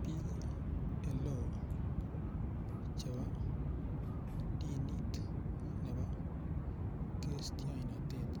Biik oleo chebo dinit nebo kristionotet